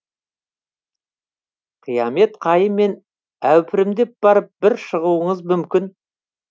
қиямет қайыммен әупірімдеп барып бір шығуыңыз мүмкін